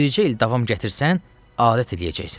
Bircə il davam gətirsən, adət eləyəcəksən.